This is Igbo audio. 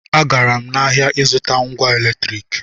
Agara m ahịa ịzụta ngwa eletriki